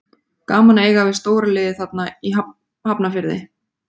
Gaman að eiga við stóra liðið þarna í Hafnarfirði.